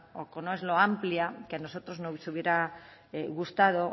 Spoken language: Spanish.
o que no es lo amplia que a nosotros nos hubiera gustado